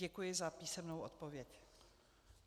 Děkuji za písemnou odpověď.